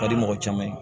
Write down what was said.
Ka di mɔgɔ caman ye